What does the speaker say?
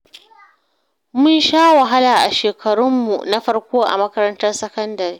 Mun sha wahala a shekarunmu na farko a makarantar sakandare